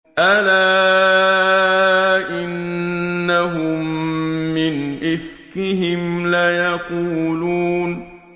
أَلَا إِنَّهُم مِّنْ إِفْكِهِمْ لَيَقُولُونَ